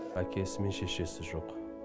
әкесі мен шешесі жоқ